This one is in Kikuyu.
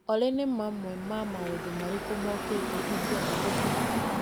Olĩ nĩ mamwe ma maũndũ marĩkũ mokĩte ingĩenda gũthiĩ?